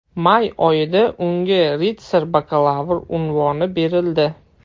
May oyida unga ritsar-bakalavr unvoni berildi .